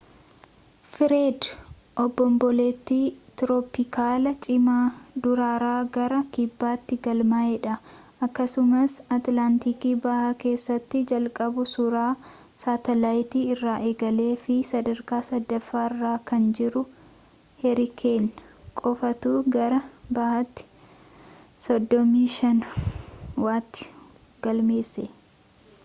fireed obomboleettii tirooppikaalaa cimaa durarraa gara kibbaatti galmaa’eedha akkasumas atilaantik bahaa keessatti jalqabuu suuraa saatalaayitii irraa eegalee fi sadarkaa sadaffaarra kan jiru heerikeen qofaatu gara bahaatti 35°w galmeesse